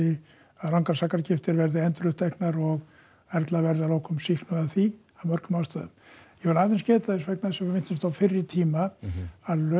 að rangar sakargiftir verði enduruppteknar og Erla verði að lokum sýknuð af því af mörgum ástæðum ég vil aðeins geta þess vegna þess að við minntumst á fyrri tíma að lögin